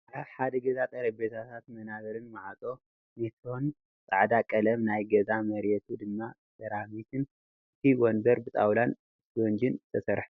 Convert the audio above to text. ኣብ ሓደ ገዛ ጠረቤዛታትን ወናብርን ማዕፆ ኔትሮን ፃዕዳ ቀለም ናይ ገዛ መርየቱ ድማ ሴራሚክን እቲ ወንበር ብጣውዐላን እስቦንጅን ዝተሰርሐ እዩ።